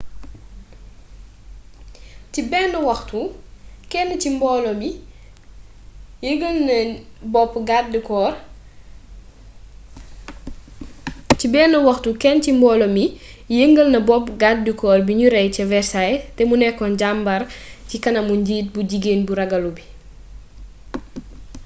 ci ben waxtu ken ci mbolo mi yengal na bopp gardécorp biniu rey ca versailles té mu nekon jambar ci kanamu njiit bu jigen bu ragalu bii